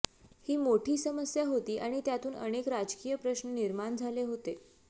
ही मोठी समस्या होती आणि त्यातून अनेक राजकीय प्रश्न निर्माण झाले होते